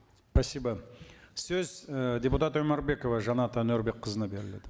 спасибо сөз і депутат өмірбекова жанат әнуарбекқызына беріледі